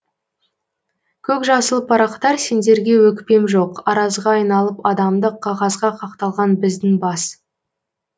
көкжасыл парақтар сендерге өкпем жоқ аразға айналып адамдық қағазға қақталған біздің бас